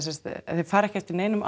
þeir fara ekki eftir neinum